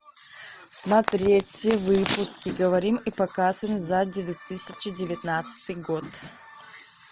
смотреть все выпуски говорим и показываем за две тысячи девятнадцатый год